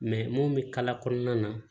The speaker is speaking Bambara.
mun bɛ kala kɔnɔna na